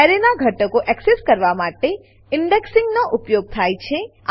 એરેનાં ઘટકો એક્સેસ કરવા માટે ઇન્ડેક્સિંગ ઇન્ડેક્સિંગ નો ઉપયોગ થાય છે